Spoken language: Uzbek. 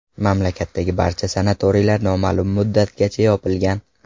Mamlakatdagi barcha sanatoriylar noma’lum muddatgacha yopilgan .